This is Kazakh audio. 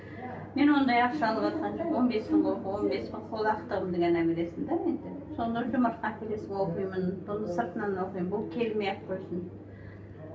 мен ондай ақша алыватқан жоқпын он бес мың он бес мың қол ақтығымды ғана бересің да енді сонда жұмыртқа әкелесің оқимын бұны сыртынан оқимын бұл келмей ақ қойсын